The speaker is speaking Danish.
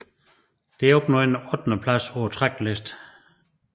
Det opnåede en ottendeplads på Tracklisten